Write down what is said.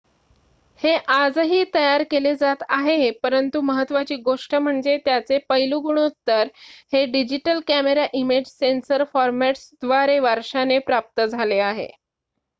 हे आजही तयार केले जात आहे परंतु महत्त्वाची गोष्ट म्हणजे त्याचे पैलू गुणोत्तर हे डिजिटल कॅमेरा इमेज सेन्सर फॉरमॅट्सद्वारे वारशाने प्राप्त झाले आहे